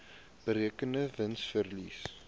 berekende wins verlies